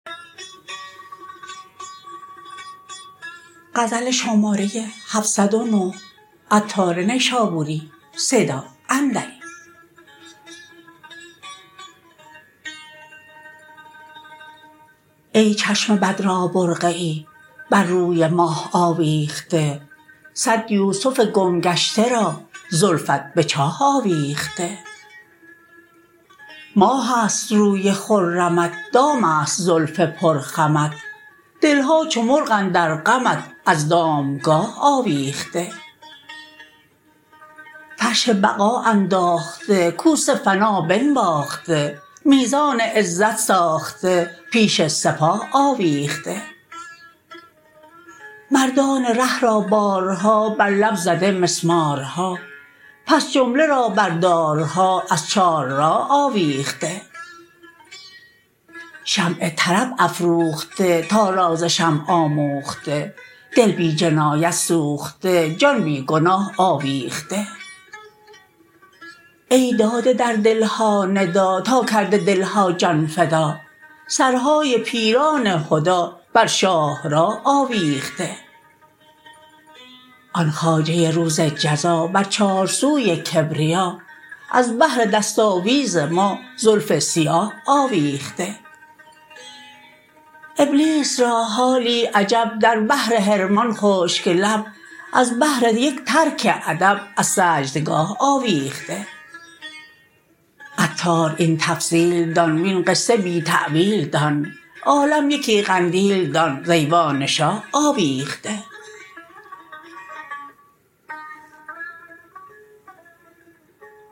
ای چشم بد را برقعی بر روی ماه آویخته صد یوسف گم گشته را زلفت به چاه آویخته ماه است روی خرمت دام است زلف پر خمت دل ها چو مرغ اندر غمت از دام گاه آویخته فرش بقا انداخته کوس فنا بنواخته میزان عزت ساخته پیش سپاه آویخته مردان ره را بارها بر لب زده مسمارها پس جمله را بر دارها از چار راه آویخته شمع طرب افروخته تا راز شمع آموخته دل بی جنایت سوخته جان بی گناه آویخته ای داده در دل ها ندا تا کرده دلها جان فدا سرهای پیران هدی بر شاهراه آویخته آن خواجه روز جزا بر چارسوی کبریا از بهر دست آویز ما زلف سیاه آویخته ابلیس را حالی عجب در بحر حرمان خشک لب از بهر یک ترک ادب از سجدگاه آویخته عطار این تفصیل دان وین قصه بی تأویل دان عالم یکی قندیل دان ز ایوان شاه آویخته